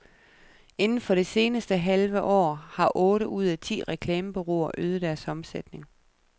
Inden for det seneste halve år har otte ud af ti reklamebureauer øget deres omsætning.